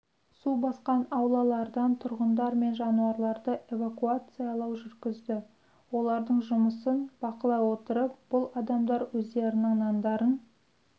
су басқан аулалардан тұрғындар мен жануарларды эвакуациялау жүргізді олардың жұмысын бақылай отырып бұл адамдар өздерінің нандарын